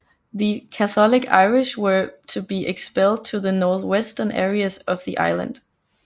The Catholic Irish were to be expelled to the northwestern areas of the island